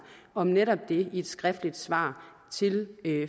om netop det i et skriftligt svar til